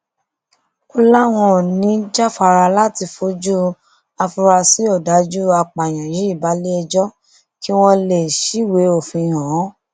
ó láwọn ò ní í jáfara láti fojú àfúráṣí ọdájú apààyàn yìí balẹẹjọ kí wọn lè ṣíwèé òfin hàn án